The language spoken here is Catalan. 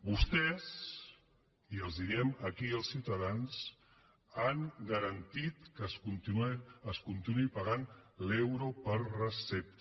vostès i els ho diem aquí als ciutadans han garantit que es continuï pagant l’euro per recepta